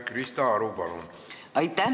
Krista Aru, palun!